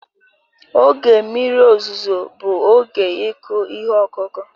Oge mmiri ozuzo bụ oge ịkụ ihe ọkụkụ